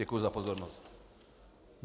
Děkuji za pozornost.